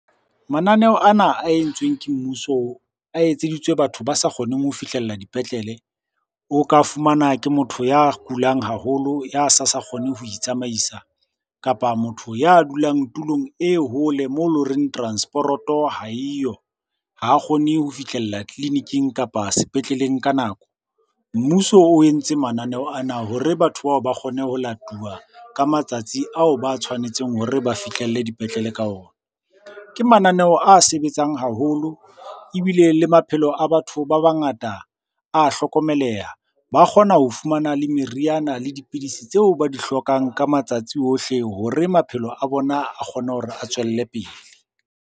Mananeo ana a entsweng ke mmuso a etseditswe batho ba sa kgoneng ho fihlella dipetlele. O ka fumana ke motho ya kulang haholo, ya sa sa kgone ho itsamaisa. Kapa motho ya dulang tulong e hole moo e leng horeng transporoto ha eyo, ha kgone ho fihlella tleliniking kapa sepetleleng ka nako. Mmuso o entse mananeo ana hore batho bao ba kgone ho latuwa ka matsatsi ao ba tshwanetseng hore ba fihlelle dipetlele ka ona. Ke mananeo a sebetsang haholo, ebile le maphelo a batho ba bangata a hlokomeleha. Ba kgona ho fumana le meriana le dipidisi tseo ba di hlokang ka matsatsi ohle hore maphelo a bona a kgone hore a tswelle pele.